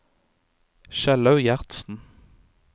Kjellaug Gjertsen